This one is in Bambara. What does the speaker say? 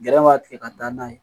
Gɛrɛ b'a tigɛ ka da n'a ye